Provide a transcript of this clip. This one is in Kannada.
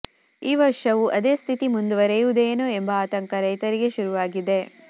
ಈ ವರ್ಷವೂ ಅದೇ ಸ್ಥಿತಿ ಮುಂದುವರೆಯುವುದೇನೋ ಎಂಬ ಆತಂಕ ರೈತರಿಗೆ ಶುರುವಾಗಿದೆ